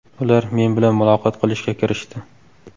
Ular men bilan muloqot qilishga kirishdi.